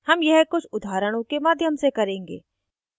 हम यह कुछ उदाहरणों के माध्यम से करेंगे